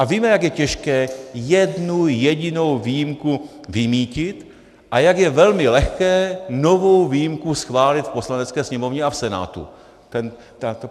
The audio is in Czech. A víme, jak je těžké jednu jedinou výjimku vymýtit a jak je velmi lehké novou výjimku schválit v Poslanecké sněmovně a v Senátu.